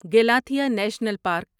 Galathea national park